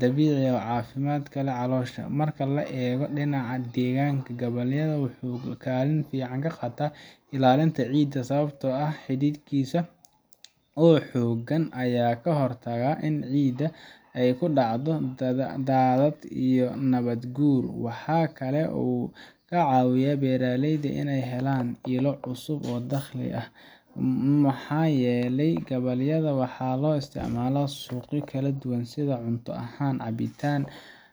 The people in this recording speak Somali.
dabiici ah oo caafimaad u leh caloosha. Marka laga eego dhinaca deegaanka, gabbaldayaha wuxuu kaalin fiican ka qaataa ilaalinta ciidda sababtoo ah xididkiisa oo xooggan ayaa ka hortaga in ciidda ay ku dhacdo daadad iyo nabaad-guur. Waxa kale oo uu ka caawiyaa beeraleyda inay helaan ilo cusub oo dakhli ah, maxaa yeelay gabbaldayaha waxaa loo isticmaalaa suuqyo kala duwan sida cunto ahaan, cabitaan